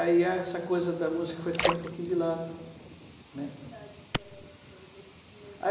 Aí essa coisa da música foi ficando um pouquinho de lado, né. Com que idade era isso? Esses primeiros